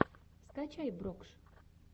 скачай брокш